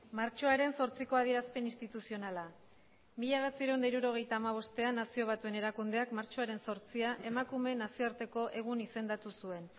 martxoaren zortziko adierazpen instituzionala mila bederatziehun eta hirurogeita hamabostean nazio batuen erakundeak martxoaren zortzia emakumeen nazioarteko egun izendatu zuen